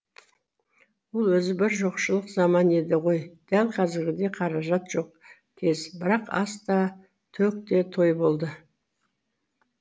ол өзі бір жоқшылық заман еді ғой дәл қазіргідей қаражат жоқ кез бірақ ас та төк те той болды